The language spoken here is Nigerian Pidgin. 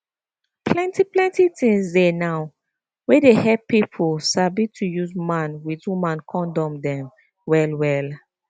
plenty plenty things dey now wey dey hep pipo sabi to use man with woman kondom dem well well